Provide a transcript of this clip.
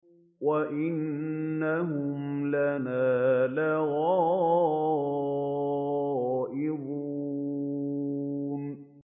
وَإِنَّهُمْ لَنَا لَغَائِظُونَ